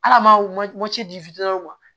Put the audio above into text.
Ala maaw ci di fitiniw ma